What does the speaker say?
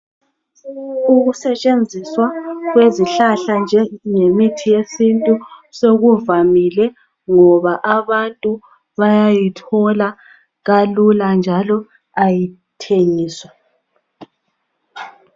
Ukusentshenziswa kwezihlahla njemithi yesintu sokuvamile ngoba abantu bayayithola kalula njalo kayithengiswa.